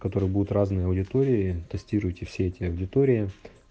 которые будут разные аудитории тестируйте все эти аудитории